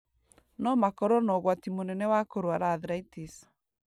no makorũo na ũgwati mũnene wa kũrũara arthritis.